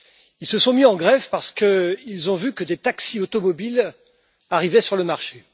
Ils se sont mis en grève parce qu'ils ont vu des taxis automobiles arriver sur le marché.